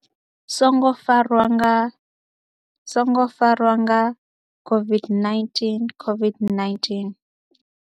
songo farwa nga songo farwa nga COVID-19, COVID-19?